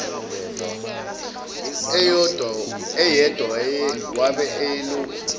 eyedwa wabe eyilokhu